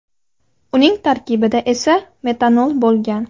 Uning tarkibida esa metanol bo‘lgan.